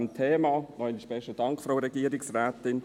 noch einmal besten Dank, Frau Regierungsrätin.